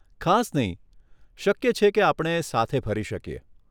ખાસ નહીં. શક્ય છે કે આપણે સાથે ફરી શકીએ.